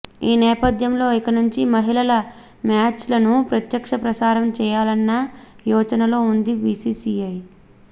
ఈ నేపథ్యంలో ఇక నుంచి మహిళల మ్యాచ్లను ప్రత్యక్ష ప్రసారం చేయాలన్న యోచ నలో ఉంది బీసీసీఐ